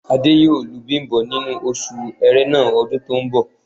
Adé yóò lu Bím̀bọ́ nínú oṣù Ẹrẹ́nà ọdún tó ń bọ̀